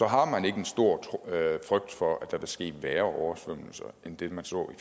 har man ikke en stor frygt for at der vil ske værre oversvømmelser end den man så i